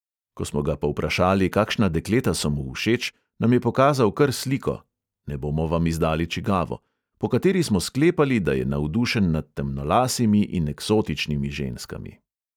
Ko smo ga povprašali, kakšna dekleta so mu všeč, nam je pokazal kar sliko (ne bomo vam izdali, čigavo), po kateri smo sklepali, da je navdušen nad temnolasimi in eksotičnimi ženskami.